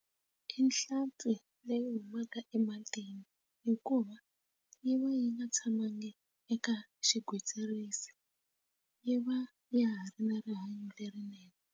I nhlampfi leyi humaka ematini hikuva yi va yi nga tshamanga eka xigwitsirisi yi va ya ha ri na rihanyo lerinene.